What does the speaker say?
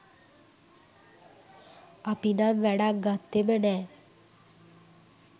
අපි නම් වැඩක් ගත්තෙම නෑ.